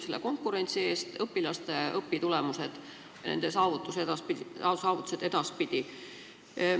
Konkurents aitab kaasa õpilaste headele õpitulemustele ja nende saavutustele edaspidi.